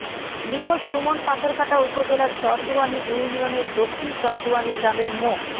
নিখোঁজ সুমন পাথরঘাটা উপজেলার চরদুয়ানী ইউনিয়নের দক্ষিণ চরদুয়ানী গ্রামের মো